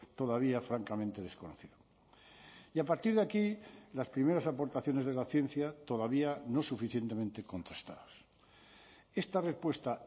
todavía francamente desconocido y a partir de aquí las primeras aportaciones de la ciencia todavía no suficientemente contrastadas esta respuesta